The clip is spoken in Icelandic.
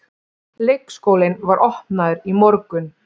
Leikskólinn var opnaður í morgun